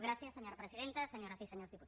gràcies senyora presidenta senyores i senyors diputats